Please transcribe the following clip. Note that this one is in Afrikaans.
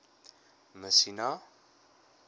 messina